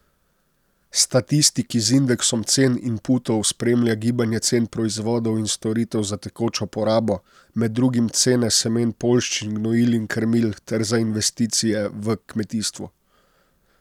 Statistiki z indeksom cen inputov spremlja gibanje cen proizvodov in storitev za tekočo porabo, med drugim cene semen poljščin, gnojil in krmil, ter za investicije v kmetijstvu.